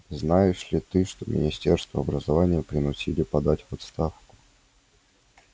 знаешь ли ты что министра образования принудили подать в отставку